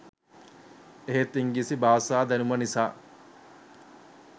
එහෙත් ඉංග්‍රීසි භාෂා දැනුම නිසා